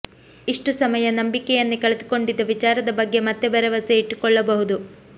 ಇಷ್ಟು ಸಮಯ ನಂಬಿಕೆಯನ್ನೇ ಕಳೆದುಕೊಂಡಿದ್ದ ವಿಚಾರದ ಬಗ್ಗೆ ಮತ್ತೆ ಭರವಸೆ ಇಟ್ಟುಕೊಳ್ಳಬಹುದು